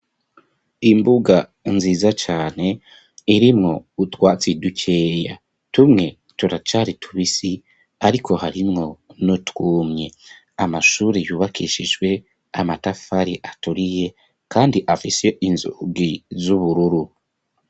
Imbuga nziza cane irimwo utwatse dukeya tumwe turacari tubisi ariko harimwo nutwumye amashuri yubakishijwe amatafari aturiye kandi afise inzugi z'ubururu.